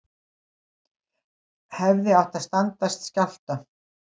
Hefðu átt að standast skjálfta